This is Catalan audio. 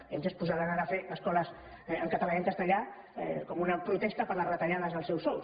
vejam si es posaran ara a fer escoles en català i en castellà com una protesta per les retallades dels seus sous